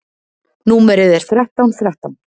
Númerið er þrettán þrettán.